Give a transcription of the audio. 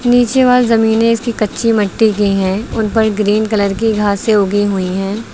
नीचे वाल जमीनें इसकी कच्ची मिट्टी की है। उन पर ग्रीन कलर की घासें उगी हुई हैं।